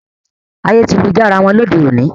Ayé ti lu jára wọn lóde òní